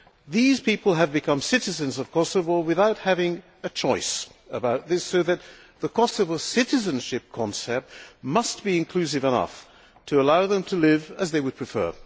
These people have become citizens of Kosovo without having a choice about this, so the Kosovo citizenship concept must be inclusive enough to allow them to live as they would prefer.